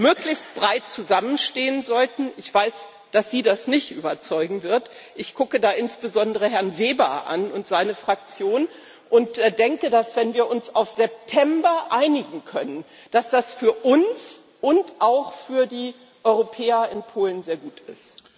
möglichst breit zusammenstehen sollten, ich weiß, dass Sie das nicht überzeugen wird, ich gucke da insbesondere Herrn Weber und seine Fraktion an und denke, dass, wenn wir uns auf September einigen können, das für uns und auch für die Europäer in Polen sehr gut ist.